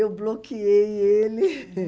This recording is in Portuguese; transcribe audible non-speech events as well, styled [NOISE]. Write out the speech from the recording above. Eu bloqueei ele. [LAUGHS]